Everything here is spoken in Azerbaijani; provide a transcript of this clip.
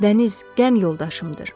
Dəniz qəm yoldaşımdır.